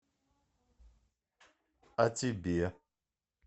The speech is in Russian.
а тебе